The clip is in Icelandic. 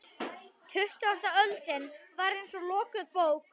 Tuttugasta öldin var eins og lokuð bók.